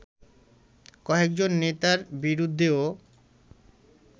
কয়েকজন নেতার বিরুদ্ধেও